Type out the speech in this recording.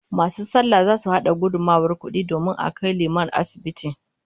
Masu sallah zasu hada gudummawar kudi domin a kai liman asibiti